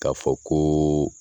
K'a fɔ ko